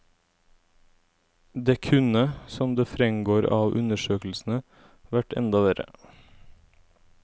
Det kunne, som det fremgår av undersøkelsene, vært enda verre.